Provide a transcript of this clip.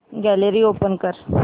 gallery open कर